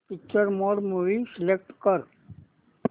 picture mode movie select कर